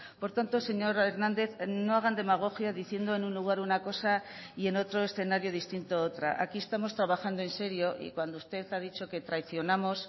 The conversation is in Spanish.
por tanto señor hernández no hagan demagogia diciendo en un lugar una cosa y en otro escenario distinto otra aquí estamos trabajando en serio y cuando usted ha dicho que traicionamos